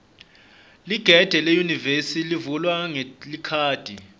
ligede leyunivesi livulwa ngelikhadi